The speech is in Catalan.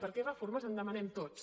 perquè reformes en demanem tots